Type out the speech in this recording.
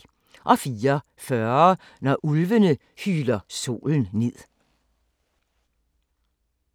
04:40: Når ulvene hyler solen ned